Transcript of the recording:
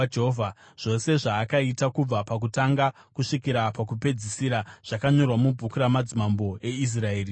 zvose zvaakaita kubva pakutanga kusvikira pakupedzisira zvakanyorwa mubhuku ramadzimambo eIsraeri neJudha.